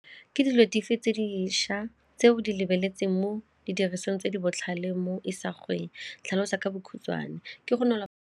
Ke dijalo dife tse dišwa tse o di lebeletseng mo didirisiweng tse di botlhale mo isagweng tlhalosa ka bokhutswane? Ke go .